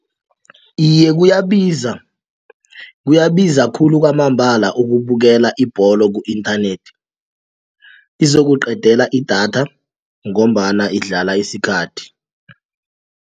Iye, kuyabiza kuyabiza khulu kwamambala ukubukela ibholo ku-inthanethi izokuqedela idatha ngombana idlala isikhathi.